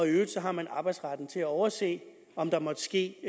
øvrigt har man arbejdsretten til at overse om der måtte ske